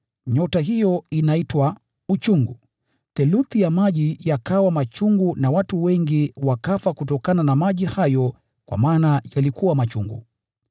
Nyota hiyo inaitwa Uchungu. Theluthi ya maji yakawa machungu na watu wengi wakafa kutokana na maji hayo kwa maana yalikuwa machungu.